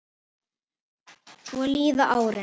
Svo líða árin.